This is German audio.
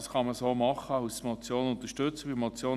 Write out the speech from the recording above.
Das kann man so machen, als Motion unterstützen wir das.